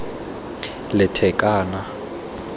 lethakane